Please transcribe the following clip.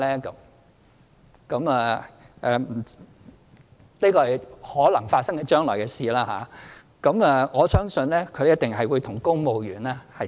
這是將來可能發生的事情，我相信一定會與公務員的做法看齊。